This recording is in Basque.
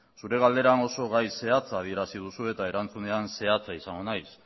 zure galdera oso gai zehatza adierazi duzu eta erantzunean zehatza izango naiz